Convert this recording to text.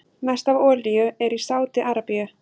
Mest af olíu er í Sádi-Arabíu.